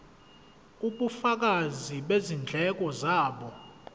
ubufakazi bezindleko zabo